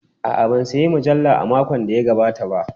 A'a, ban sayi mujalla a makon da ya gabata ba.